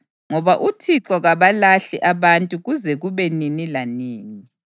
Ngoba uThixo kabalahli abantu kuze kube nini lanini.